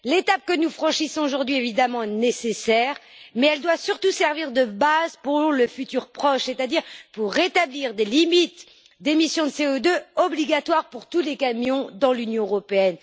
L'étape que nous franchissons aujourd'hui, évidemment, est nécessaire, mais elle doit surtout servir de base pour le futur proche, c'est à dire pour établir des limites d'émission de CO2 obligatoires pour tous les camions dans l'Union européenne.